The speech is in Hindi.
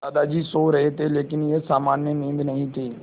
दादाजी सो रहे थे लेकिन यह सामान्य नींद नहीं थी